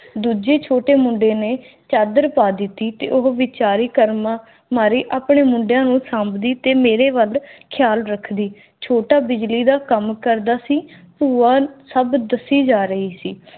ਦੂਜੇ ਛੋਟੇ ਮੁੰਡੇ ਨੇ ਚਾਦਰ ਪਾ ਦਿੱਤੀ ਉਹ ਬਿਚਾਰੀ ਕਰਮਾਂ ਮਾਰੇ ਆਪਣੇ ਮੁੰਡਿਆਂ ਨੂੰ ਸਾਂਭਦੀ ਤੇ ਮੇਰੇ ਵੱਲ ਰੱਖਦੀ ਛੋਟਾ ਬਿਜਲੀ ਦਾ ਕਾਮ ਕਰਦਾ ਸੀ ਬੁਆ ਸਬ ਦੱਸੀ ਜਾ ਰਹੀ ਸੀ